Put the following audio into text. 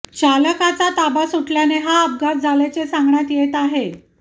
चालकाचा ताबा सुटल्याने हा अपघात झाल्याचे सांगण्यात येत आहे